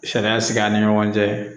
Sariya sigi an ni ɲɔgɔn cɛ